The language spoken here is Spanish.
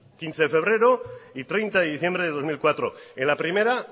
quince de febrero y treinta de diciembre de dos mil cuatro en la primera